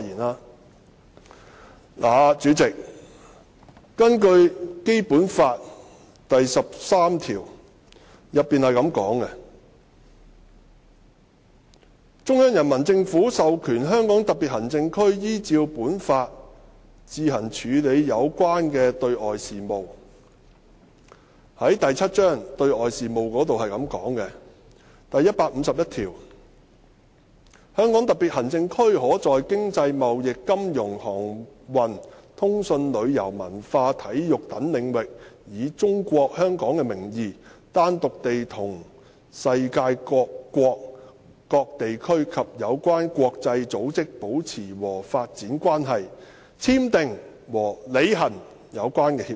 代理主席，《基本法》第十三條訂明："中央人民政府授權香港特別行政區依照本法自行處理有關的對外事務"，而在第七章"對外事務"之下的第一百五十一條亦訂明："香港特別行政區可在經濟、貿易、金融、航運、通訊、旅遊、文化、體育等領域以'中國香港'的名義，單獨地同世界各國、各地區及有關國際組織保持和發展關係，簽訂和履行有關協議"。